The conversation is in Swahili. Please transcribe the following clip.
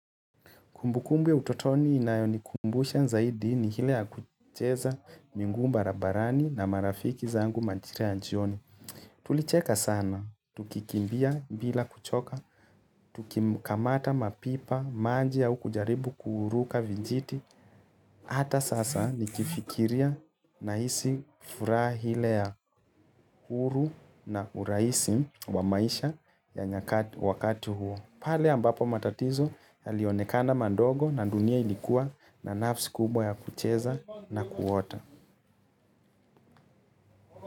Kumbukumbu utotoni inayonikumbusha zaidi ni hile ya kucheza miguu barabarani na marafiki zangu majira ya jioni. Tulicheka sana, tukikimbia bila kuchoka, tukikamata mapipa, maji au kujaribu kuruka vijiti. Hata sasa nikifikiria nahisi furaha ile ya huru na urahisi wa maisha ya wakati huo. Pale ambapo matatizo yalionekana mandogo na dunia ilikuwa na nafasi kubwa ya kucheza na kuota.